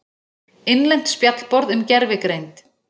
Innlent spjallborð um gervigreind.